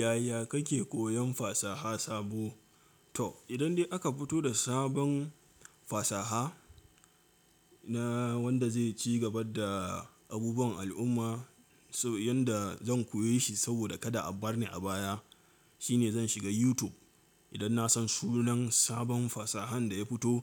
Yaya kake koyan fasaha sabo? To idan dai aka fito da sabon fasaha na wanda zai ci gaba da abubuwan al'umma, so yanda zan koyi shi saboda kada a bar ni a baya, shine zan shiga YouTube. Idan na san sunan sabon fasahan da ya fito,